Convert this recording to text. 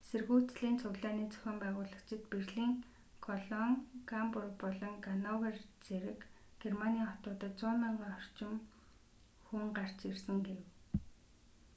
эсэргүүцлийн цуглааны зохион байгуулагчид берлин колон гамбург болон гановер зэрэг германы хотуудад 100,000 орчим хүн гарч ирсэн гэв